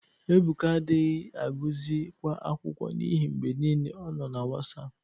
Ebụka adaghị agụzị kwa akwụkwọ n'ihi mgbe niile ọ nọ na Wasapụ.